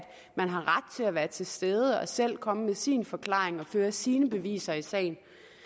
man har ret til at være til stede og selv komme med sin forklaring og føre sine beviser i sagen